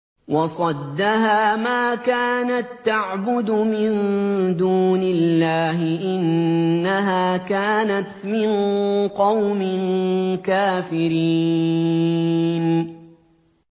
وَصَدَّهَا مَا كَانَت تَّعْبُدُ مِن دُونِ اللَّهِ ۖ إِنَّهَا كَانَتْ مِن قَوْمٍ كَافِرِينَ